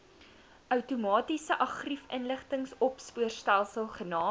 outomatiese argiefinligtingsopspoorstelsel genaamd